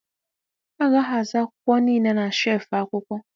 A ga-ahazi akwụkwọ niile na shelfụ̀ akwụkwọ.